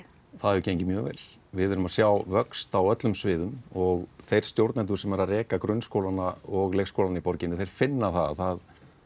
það hefur gengið mjög vel við erum að sjá vöxt á öllum sviðum og þeir stjórnendur sem eru að reka grunnskólana og leikskólana í borginni þeir finna það